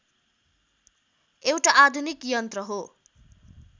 एउटा आधुनिक यन्त्र हो